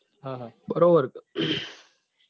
હા હા બરોબર